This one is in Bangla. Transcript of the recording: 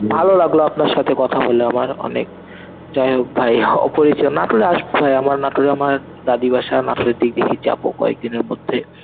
ভালো লাগলো আপনার সাথে কথা বলে আমার অনেক. যাই হোক ভাই অপরিচি~ নাটোরে আসবো ভাই আমার নাটোরে আমার দাদি বাসা নাটোরের দিক থেকে যাবো কয়েকদিনের মধ্যে